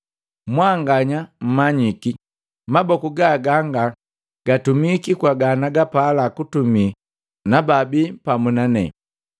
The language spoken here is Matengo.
Mwanganya mmanyiki maboku ga ganga gatumiki kwa ganagapala kutumi na bababii pamu na nane.